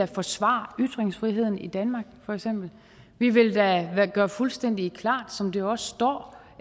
forsvare ytringsfriheden i danmark for eksempel vi vil da gøre fuldstændig klart som det jo også står